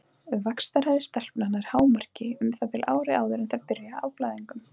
Vaxtarhraði stelpna nær hámarki um það bil ári áður en þær byrja á blæðingum.